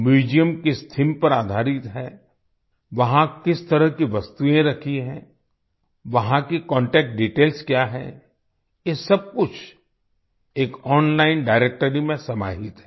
museum किस theme पर आधारित है वहाँ किस तरह की वस्तुएं रखी हैं वहां की कॉन्टैक्ट डिटेल्स क्या है ये सब कुछ एक ओनलाइन डायरेक्ट्री में समाहित है